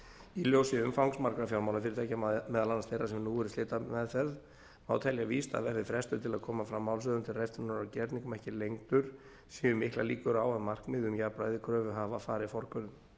í ljósi umfangs margra fjármálafyrirtækja meðal annars þeirra sem nú eru í slitameðferð má telja víst að verði frestur til að koma fram málshöfðun til riftunar á gerningum ekki lengdur séu miklar líkur á að markmið um jafnræði kröfuhafa fari forgörðum